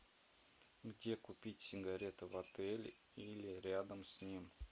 где купить сигареты в отеле или рядом с ним